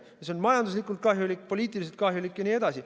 See on majanduslikult kahjulik, poliitiliselt kahjulik jne.